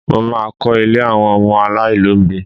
Mo má a kọ́ ilé àwọn ọmọ aláìlóbìí